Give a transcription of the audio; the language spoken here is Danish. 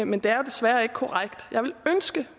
men det er desværre ikke korrekt jeg ville ønske